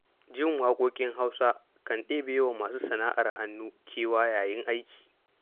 Jin waƙoƙin Hausa kan ɗebewa masu sana'ar hannu kewa yayin aiki.